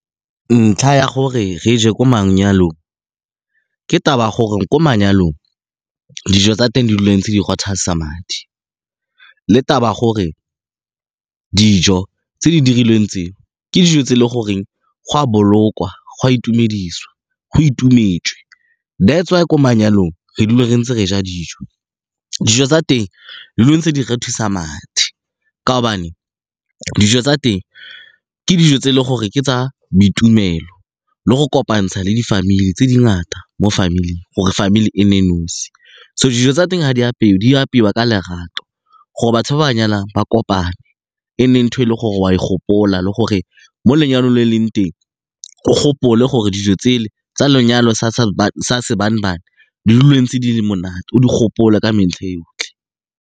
Ntlha ya gore re je ko manyalong ke taba gore ko manyalong dijo tsa teng di dila ntse di madi le taba ya gore dijo tse di dirilweng tse, ke dijo tse e le goreng go a bolokwa, go a itumediswa, go itumetswe, that's why ko manyalong re dule re ntse re ja dijo, dijo tsa teng di dula ntse di rothisa madi ka gobane dijo tsa teng ke dijo tse e leng gore ke tsa boitumelo le go kopantsha le di-family tse dingata mo family-eng, gore family e nne nosi. So, dijo tsa teng ga di apeiwa, di apeiwa ka lerato gore batho ba ba nyalang ba kopane. E nne ntho e le gore o a e gopola le gore mo lenyalong e leng teng o gopole gore dijo tse le tsa lenyalo sa di dule di ntse di le monate o di gopole ka metlha e yotlhe.